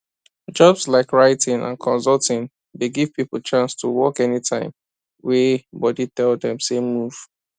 jobs like writing and consulting dey give people chance to work anytime wey body tell them say move